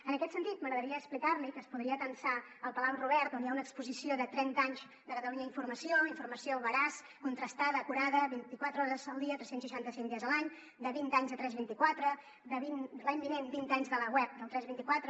en aquest sentit m’agradaria explicar li que es podria atansar al palau robert on hi ha una exposició de trenta anys de catalunya informació informació veraç contrastada acurada vint i quatre hores al dia tres cents i seixanta cinc dies a l’any de vint anys de tres vint quatre l’any vinent vint anys de la web del tres vint quatre